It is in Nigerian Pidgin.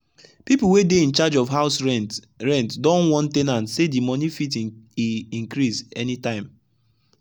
the people wey dey incharge of house rent rent don warn ten ants say the money fit e increase any time.